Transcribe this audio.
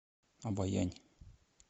обоянь